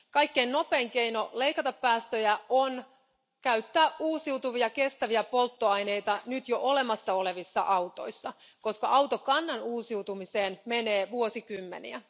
Kaikkein nopein keino leikata päästöjä on käyttää uusiutuvia kestäviä polttoaineita nyt jo olemassa olevissa autoissa, koska autokannan uusiutumiseen menee vuosikymmeniä.